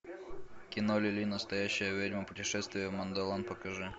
кино лили настоящая ведьма путешествие в мандолан покажи